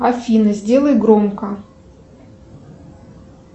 афина сделай громко